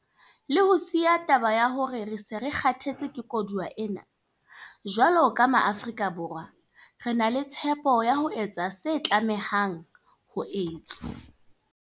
Le ho siya taba ya hore re se re 'kgathetse ke koduwa' ena, jwalo ka Maafrika Borwa, re na le tshepo ya ho etsa se tlamehang ho etswa.